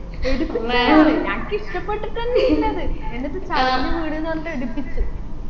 എടുപ്പിച്ച് അയാൾ നാൻക്ക് ഇഷ്ടപെട്ടിട്ടെന്നെ ഇല്ല അത് എന്നിട്ട് താഴില് വീണിന്ന് പറഞ്ഞിട്ട് എടുപ്പിച്ച്